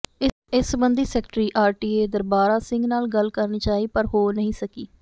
ਇਸ ਸੰਬੰਧੀ secretary RTA Darbara Singh ਨਾਲ ਗੱਲ ਕਰਨੀ ਚਾਹੀ ਪਰ ਹੋ ਨਹੀਂ ਸਕੀ